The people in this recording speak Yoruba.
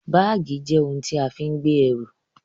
Báàgì jẹ́ ohun tí a fi ń gbé ẹrù